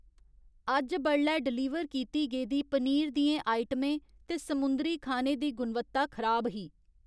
अज्ज बडलै डलीवर कीती गेदी पनीर दियें आइटमें ते समुंदरी खाने दी गुणवत्ता खराब ही।